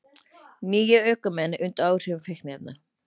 Níu ökumenn undir áhrifum fíkniefna